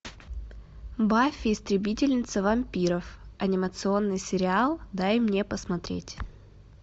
баффи истребительница вампиров анимационный сериал дай мне посмотреть